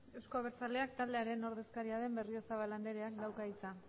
euzko abertzaleak taldearen ordezkaria den berriozabal andereak dauka hitza